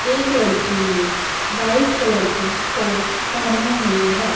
एक लड़की ने व्हाइट कलर का कोट पहना हुआ है।